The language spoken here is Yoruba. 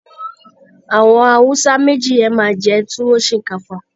Àwọn Hausa méjì yen máa jẹ Tuwo Shinkafa